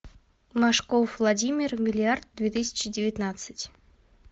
машков владимир миллиард две тысячи девятнадцать